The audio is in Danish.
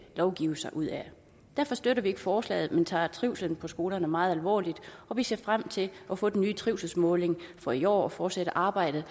lovgive sig ud af derfor støtter vi ikke forslaget men vi tager trivslen på skolerne meget alvorligt og vi ser frem til at få den nye trivselsmåling for i år og fortsætte arbejdet